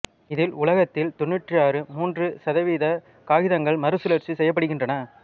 இதில் உலகத்தில் தொண்ணுற்று மூன்று சதவிகித காகிதங்கள் மறுசுழற்சி செய்யப்படுகின்றன